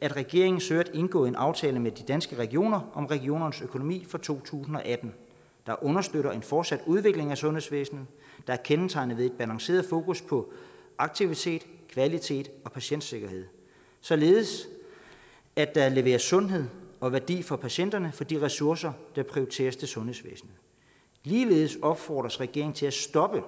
at regeringen søger at indgå en aftale med danske regioner om regionernes økonomi for to tusind og atten der understøtter en fortsat udvikling af sundhedsvæsenet der er kendetegnet ved et balanceret fokus på aktivitet kvalitet og patientsikkerhed således at der leveres sundhed og værdi for patienterne for de ressourcer der prioriteres til sundhedsvæsenet ligeledes opfordres regeringen til at stoppe